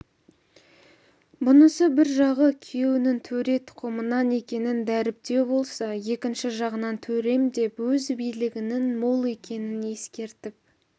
бұнысы бір жағы күйеуінің төре тұқымынан екенін дәріптеу болса екінші жағынан төрем деп өзіне билігінің мол екенін ескертіп